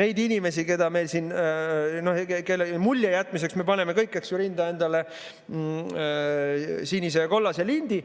neid inimesi, kellele mulje jätmiseks me paneme kõik rinda endale sinise ja kollase lindi.